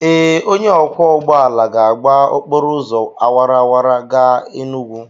Ee, onye ọkwọ ụgbọala ga-agba okporo ụzọ awara awara gaa Enugwu.